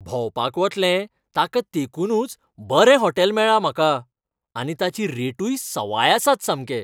भोंवपाक वतले ताका तेंकूनच बरें हॉटेल मेळ्ळां म्हाका आनी ताची रेटूय सवाय आसात सामके.